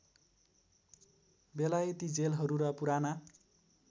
बेलायती जेलहरू र पुराना